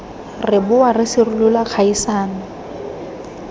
re boa re sirolola kgaisano